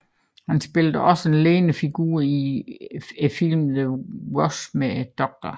Han spillede også en ledende figur i filmen The Wash med Dr